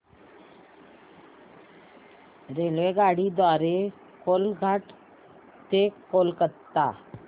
रेल्वेगाडी द्वारे कोलाघाट ते कोलकता